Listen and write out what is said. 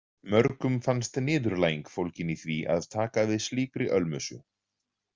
Mörgum fannst niðurlæging fólgin í því að taka við slíkri ölmusu.